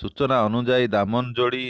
ସୂଚନା ଅନୁଯାୟୀ ଦାମନଯୋଡି